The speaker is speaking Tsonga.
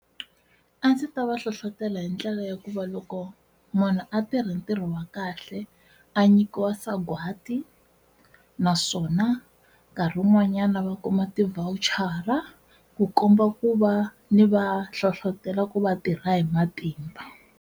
A ndzi ta va hlohlotela hi ndlela ya ku va loko munhu a tirha ntirho wa kahle a nyikiwa sagwadi naswona nkarhi wun'wanyana va kuma ti-voucher ku komba ku va ni va hlohlotelo ku va tirha hi matimba.